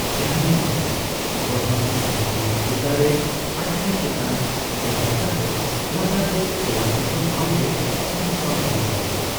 ᱡᱟᱦᱟᱭᱮᱱᱜᱮ, ᱜᱚᱲᱦᱚᱱ ᱟᱨᱵᱟᱝ ᱦᱩᱭᱫᱟᱲᱮ ᱟᱴᱷᱲᱮ ᱪᱮᱛᱟᱱ ᱴᱮᱸᱦᱟᱰ ᱠᱟᱛᱮ ᱞᱟᱛᱟᱨ ᱨᱮ ᱚᱞᱟᱜ ᱡᱚᱛᱚ ᱴᱷᱟᱣᱜᱮ ᱦᱟᱛᱟᱣ ᱵᱟᱝ ᱦᱩᱭ ᱫᱟᱲᱮᱭᱟᱜᱼᱟ ᱾